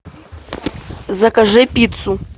закажи пиццу